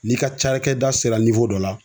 N'i ka cakɛda sera ni wo dɔ la